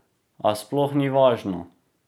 A sploh ni važno!